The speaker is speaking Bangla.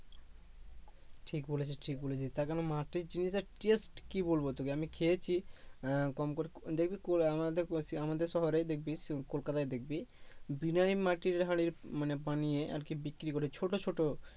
ঠিক বলেছিস ঠিক বলেছিস তা কেন মাটির জিনিসে test কি বলব তোকে আমি খেয়েছি আহ কম করে দেখবি আমাদে ~ আমাদের শহরেই দেখবি কলকাতায় দেখবি বিনাইম মাটির হাড়ির মানে আরকি বিক্রি করে ছোট ছোট